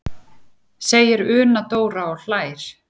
segir Una Dóra og hlær.